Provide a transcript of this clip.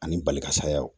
Ani bali ka sayaw